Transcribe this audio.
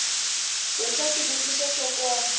we xa swivutiso swo koma